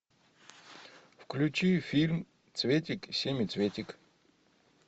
включи фильм цветик семицветик